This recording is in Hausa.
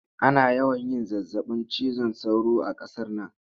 Ana yawan yin zazzabin cizon sauro a qasar nan